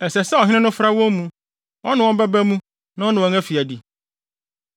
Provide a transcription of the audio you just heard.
Ɛsɛ sɛ ɔhene no fra wɔn mu; ɔne wɔn bɛba mu na ɔne wɔn afi adi.